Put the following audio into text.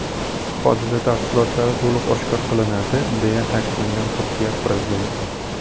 Hodisa tafsilotlari to‘liq oshkor qilinadi”, deya ta’kidlagan Turkiya prezidenti.